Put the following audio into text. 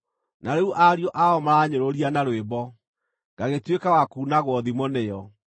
“Na rĩu ariũ ao maraanyũrũria na rwĩmbo; ngagĩtuĩka wa kuunagwo thimo nĩo.